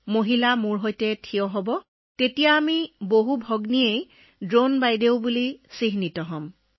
সেইটো ভাবি মই অকলশৰীয়া নহয় মোৰ লগতে বহু মহিলা ড্ৰোন দিদি নামেৰে পৰিচিত হৈছে